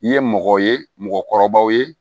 I ye mɔgɔ ye mɔgɔkɔrɔbaw ye